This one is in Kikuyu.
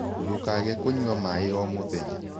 Ndũkage kũnyua mae o mũthenya